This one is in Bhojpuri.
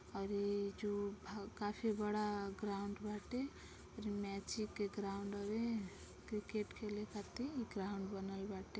और इ जो काफी बड़ा ग्राउंड बाटे जो मैची के ग्राउड हउए क्रिकेट खेले खातिर ग्राउंड बनल बाटे।